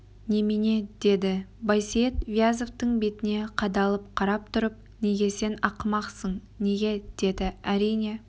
немене деді байсейіт вязовтың бетіне қадалып қарап тұрып неге сен ақымақсың неге деді әрине